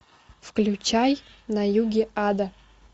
включай на юге ада